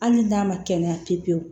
Hali n'a ma kɛnɛya pewu pewu